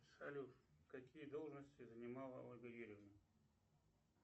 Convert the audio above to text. салют какие должности занимала ольга юрьевна